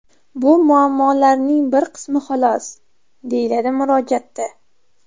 Bu muammolarning bir qismi xolos”, deyiladi murojaatda.